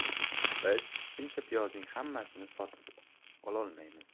Biz shuncha piyozning hammasini sotib ololmaymiz.